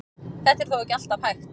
Þetta er þó ekki alltaf hægt.